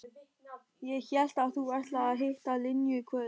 Ég hélt að þú ætlaðir að hitta Linju í kvöld.